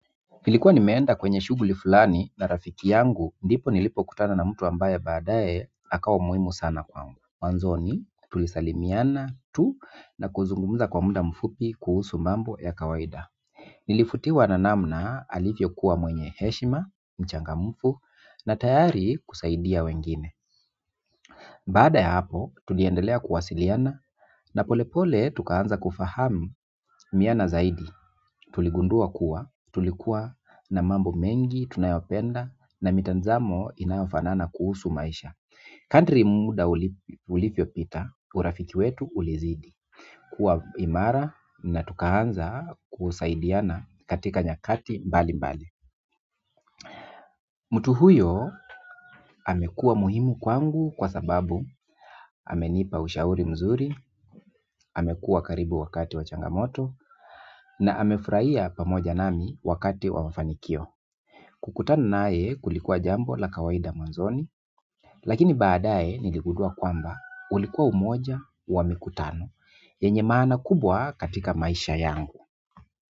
Nilikuwa nimeenda kwenye shughuli fulani na rafiki yangu ndipo nilipokutana na mtu ambaye baadaye akawa muhimu sana kwangu. Mwanzoni tulisalimiana tu na kuzungumza kwa muda mfupi kuhusu mambo ya kawaida. Nilivutiwa na namna alivyokuwa mwenye heshima, mchangamfu na tayari kusaidia wengine baada ya hapo, tuliendelea kuwasiliana na polepole tukaanza kufahamiana zaidi. Tuligundua kuwa tulikuwa na mambo mengi tunayopenda na mitazamo inayofanana kuhusu maisha kadri muda ulivyopita, urafiki wetu ulizidi kuwa imara na tukaanza kusaidiana katika nyakati mbali mbali mtu huyo amekuwa muhimu kwangu kwa sababu amenipa ushauri mzuri. Amekuwa karibu wakati wa changamoto, na amefurahia pamoja nami wakati wa mafanikio kukutana naye kulikuwa jambo la kawaida mwanzoni, lakini baadaye niligundua kwamba ulikuwa moja wa mikutano yenye maana kubwa katika maisha yangu.